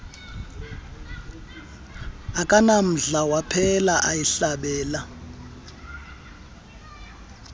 akanamdla waphela eyihlabela